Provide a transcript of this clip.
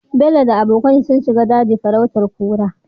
Bello da abokan shi sun shiga daji farautar kura